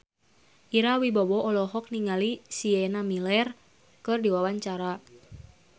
Ira Wibowo olohok ningali Sienna Miller keur diwawancara